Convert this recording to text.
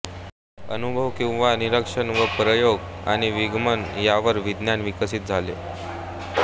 अनुभव किंवा निरीक्षण व प्रयोग आणि विगमन यावर विज्ञान विकसित झाले